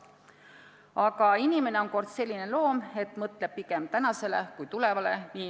Aga inimene on kord selline loom, et mõtleb pigem tänasele kui tulevale.